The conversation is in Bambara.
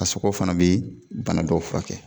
A sogo fana bi bana dɔw furakɛ